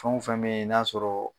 Fɛn o fɛn be ye n'a sɔrɔ